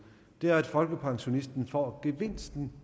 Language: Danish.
det er at folkepensionisten får gevinsten